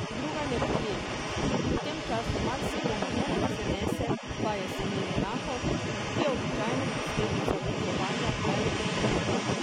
Druga neprijetnost, ki v tem času marsikomu ne prizanese pa je seneni nahod, ki je običajno posledica vdihovanja pelodov in trav.